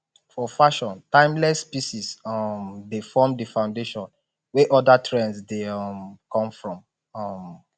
for fashion timeless pieces um dey form di foundation wey oda trends dey um come from um